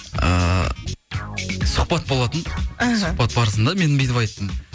ыыы сұхбат болатын іхі сұхбат барысында мен бүйтіп айттым